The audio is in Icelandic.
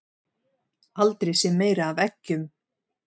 Aldrei séð meira af eggjum